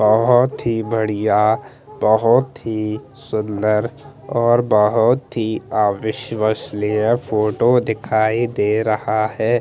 बोहोत ही बढ़िया बोहोत ही सुन्दर और बोहोत ही अविश्ववनीय फोटो दिखाई दे रहा है।